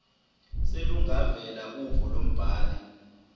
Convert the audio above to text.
selungavela uvo lombhali